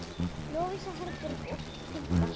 Lovísa Herborg og Hulda.